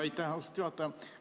Aitäh, austatud juhataja!